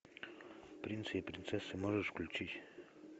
принцы и принцессы можешь включить